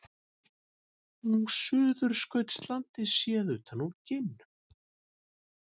Suðurskautslandið séð utan úr geimnum.